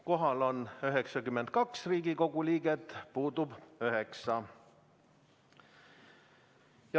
Kohal on 92 Riigikogu liiget, puudub 9.